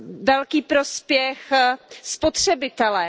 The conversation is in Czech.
velký prospěch spotřebitelé.